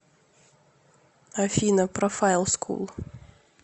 афина профайл скул